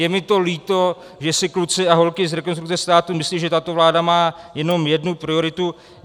Je mi to líto, že si kluci a holky z Rekonstrukce státu myslí, že tato vláda má jenom jednu prioritu.